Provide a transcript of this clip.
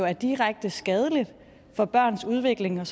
er direkte skadeligt for børns udvikling og